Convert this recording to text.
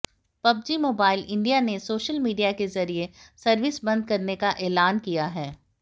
PUBG mobile India ने social media के जरिए सर्विस बंद करने का ऐलान किया है